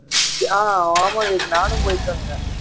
ஆஹ் ஆமா விவேக் நானும் போயிட்டு வந்தேன்